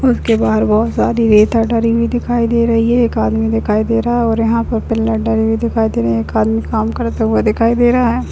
उसके बाहर बहुत सारी रेता डली हुई दिखाई दे रही है एक आदमी दिखाई दे रहा है और यहाँ पर पिलर डली हुई दिखाई दे रही है एक आदमी काम करते हुए दिखाई दे रहा है।